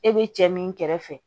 E be cɛ min kɛrɛfɛ